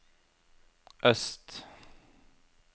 øst